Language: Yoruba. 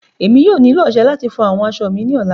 Emi yóò nilo ọṣẹ lati fọ aṣọ mi ni ọla